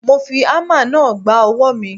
Mo fi ámà náà gba ọwọ́ mi.